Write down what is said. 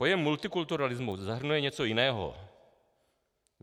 Pojem multikulturalismus zahrnuje něco jiného.